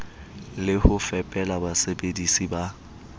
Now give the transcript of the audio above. le ho fepela basebedisi ba